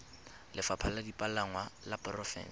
lefapha la dipalangwa la porofense